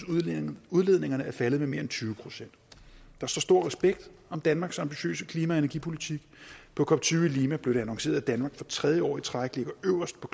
udledningerne er faldet med mere end tyve procent der står stor respekt om danmarks ambitiøse klima og energipolitik på cop tyve i lima blev det annonceret at danmark for tredje år i træk ligger øverst på